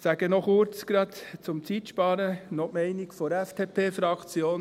Um Zeit zu sparen, sage ich gerade noch kurz die Meinung der FDP-Fraktion.